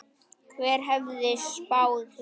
Hver hefði spáð því?